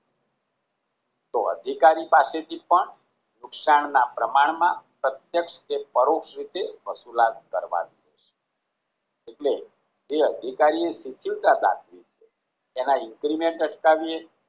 તો અધિકારી પાસેથી પણ નુકસાન ના પ્રમાણમાં પ્રત્યક્ષ કે પરોક્ષ રીતે વસુલાત કરવાની એટલે એ અધિકારી એ સુચીવટા દાખવી એના increment અટકાવીએ